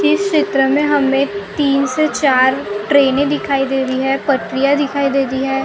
इस चित्र में हमें तीन से चार ट्रेने दिखाई दे रही है पटरियाँ दिखाई दे रही है।